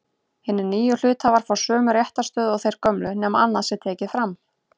Hinir nýju hluthafar fá sömu réttarstöðu og þeir gömlu nema annað sé tekið fram.